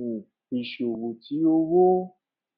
um iṣowo ti owo